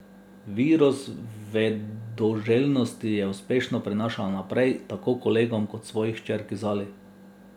Virus vedoželjnosti je uspešno prenašala naprej, tako kolegom kot svoji hčerki Zali.